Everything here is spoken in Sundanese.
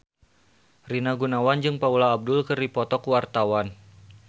Rina Gunawan jeung Paula Abdul keur dipoto ku wartawan